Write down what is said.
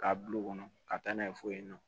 K'a bil'o kɔnɔ ka taa n'a ye fo yen nɔ